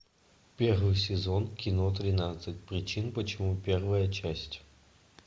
первый сезон кино тринадцать причин почему первая часть